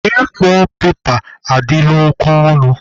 A4 pepa adịla oke ọnụ.